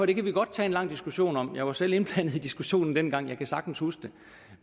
det kan vi godt tage en lang diskussion om jeg var selv indblandet i diskussionen dengang jeg kan sagtens huske det